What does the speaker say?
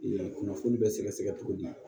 kunnafoni bɛ sɛgɛsɛgɛ cogo di